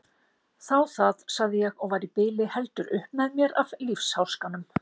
Þá það, sagði ég og var í bili heldur upp með mér af lífsháskanum.